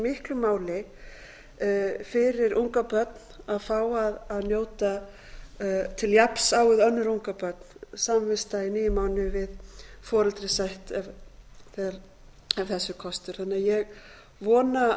miklu máli fyrir ungabörn að fá að njóta til jafns á við önnur ungabörn samvista í níu mánuði við foreldri sitt ef þess er kostur ég vona því